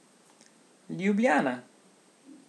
Ljubljana.